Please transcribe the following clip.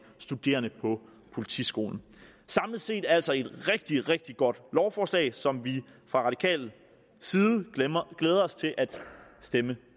studerende på politiskolen samlet set er det altså et rigtig rigtig godt lovforslag som vi fra radikal side glæder os til at stemme